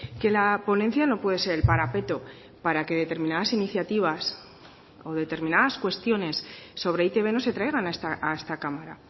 que la ponencia no puede ser el parapeto para que determinadas iniciativas o determinadas cuestiones sobre e i te be no se traigan a esta cámara